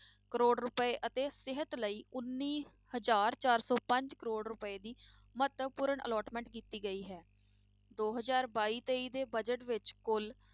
ਕਰੌੜ ਰੁਪਏ ਅਤੇ ਸਿਹਤ ਲਈ ਉੱਨੀ ਹਜ਼ਾਰ ਚਾਰ ਸੌ ਪੰਜ ਕਰੌੜ ਰੁਪਏ ਦੀ ਮਹੱਤਵਪੂਰਨ allotment ਕੀਤੀ ਗਈ ਹੈ, ਦੋ ਹਜ਼ਾਰ ਬਾਈ ਤੇਈ ਦੇ budget ਵਿੱਚ ਕੁੱਲ